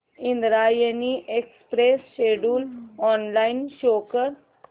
Indrayani express schedule online show कर